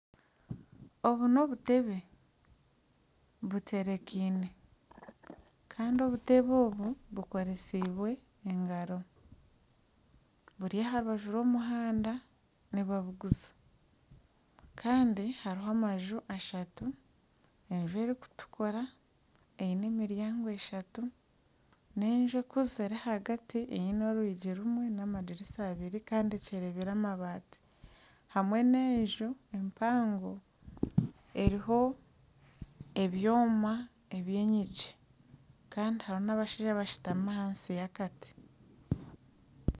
Obu n'obutebe butekyeriine kandi obutebe obu bukoresiibwe engaro buri aha rubaju rw'omuhanda nibabuguza kandi hariho amanju ashatu enju erikutukura eine emiryango eshatu n'enju ekuzire ahagati eine orwingi rumwe n'amadirisa abiri kandi akyerenyire amabaati hamwe n'enju empango eriho ebyoma eby'enyingi kandi hariho n'abashaija abashutami ahansi y'akati.